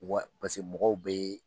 Wari paseke mɔgɔw be yen